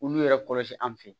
Olu yɛrɛ kɔlɔsi an fɛ yen